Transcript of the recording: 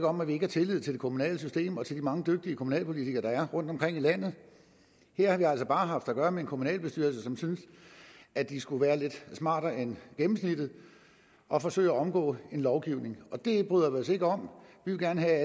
om at vi ikke har tillid til det kommunale system og til de mange dygtige kommunalpolitikere der er rundtomkring i landet her har vi altså bare haft at gøre med en kommunalbestyrelse som synes at de skulle være lidt smartere end gennemsnittet og forsøge at omgå en lovgivning det bryder vi os ikke om vi vil gerne have at